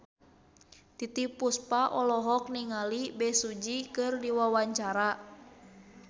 Titiek Puspa olohok ningali Bae Su Ji keur diwawancara